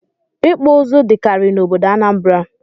Ịkpụ ụzụ dịkarị n'obodo Anambra